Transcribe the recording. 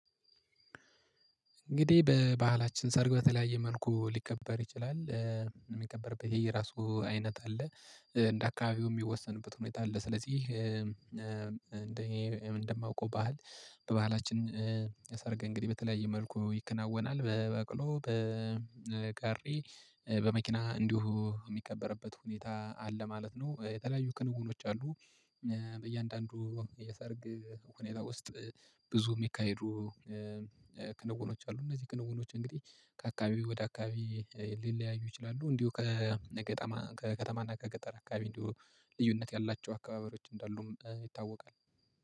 እንግዲህ በባህላችን ሰርግ በተለያየ መልኩ ሊከበር ይችላል የሚከበርበት ይሄ የራሱ አይነት አለ እንደ አካባቢው የሚወሰንበት ሁኔታ አለ። ስለዚህ እንደማውቀው ባህል በባህላችን የሰርገ እንግዲህ በተለያየ መልኩ ይከናወናል በበቅሎ በቀሪ በመኪና እንዲሁ የሚከበርበት ሁኔታ አለ ማለት ነው። የተለያዩ ክንውኖች አሉ። በእያንዳንዱ የሰርግ ሁኔታ ውስጥ ብዙ የሚካሄዱ ክንውኖች አሉ። እነዚህ ክንጉኖች እንግዲህ ከአካባቢው ወደ አካባቢ ሊለያዩ ይችላሉ። እንዲሁ ከከተማ ከከተማና ከገጠር አካባቢ እንዲሁ ልዩነት ያላቸው አካባበሮች እንዳሉም ይታወቃል።